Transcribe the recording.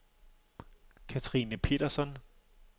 Kathrine Petersson